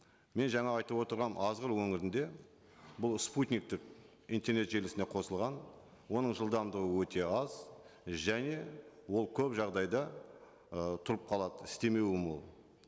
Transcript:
мен жаңа айтып отырған азғыр өңірінде бұл спутниктік интернет желісіне қосылған оның жылдамдығы өте аз және ол көп жағдайда ы тұрып қалады істемеуі мол